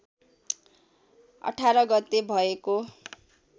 १८ गते भएको